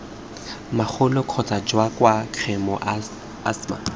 magolo kgotsa jwa khemo asthma